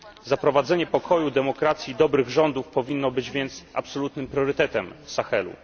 Zaprowadzenie pokoju, demokracji, dobrych rządów powinno być więc absolutnym priorytetem Sahelu.